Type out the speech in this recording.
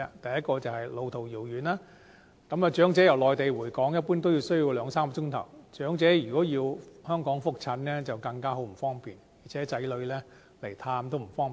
第一，是路途遙遠，長者由內地回港，一般需要兩三小時，如果長者要在香港覆診則更為不便，而且子女探望也不方便。